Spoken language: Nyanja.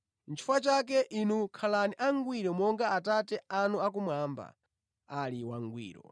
Nʼchifukwa chake, inu khalani angwiro monga Atate anu akumwamba ali wangwiro.”